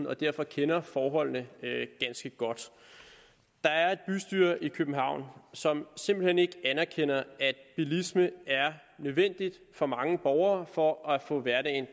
og derfor kender forholdene ganske godt der er et bystyre i københavn som simpelt hen ikke anerkender at bilisme er nødvendig for mange borgere for at få hverdagen